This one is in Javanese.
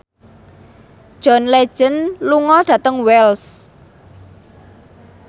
John Legend lunga dhateng Wells